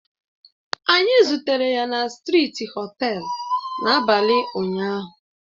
Anyị zutere ya na strịti họtelu l n'abalị ụnyahụ